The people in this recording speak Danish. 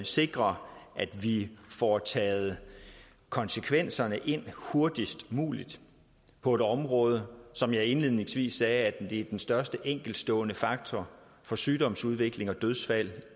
sikrer at vi får taget konsekvenserne ind hurtigst muligt på et område som jeg indledningsvis sagde er den største enkeltstående faktor for sygdomsudvikling og dødsfald